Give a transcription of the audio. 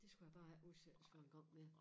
Det skulle jeg bare ikke udsættes for 1 gang mere